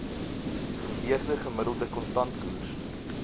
geweegde gemiddelde kontantkoers